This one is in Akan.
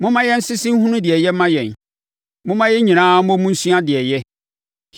Momma yɛnsese nhunu deɛ ɛyɛ ma yɛn. Momma yɛn nyinaa mmɔ mu nsua deɛ ɛyɛ.